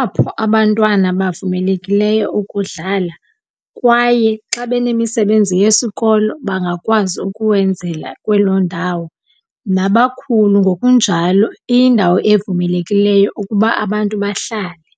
apho abantwana bavumelekileyo ukudlala kwaye xa benemisebenzi yesikolo, bangakwazi ukuwenzela kwelo ndawo. Nabakhulu ngokunjalo iyindawo evumelekileyo ukuba abantu bahlale.